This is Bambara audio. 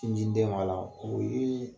Sin ji ni den b'a la